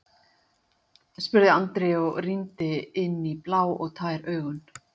spurði Andri og rýndi inn í blá og tær augun.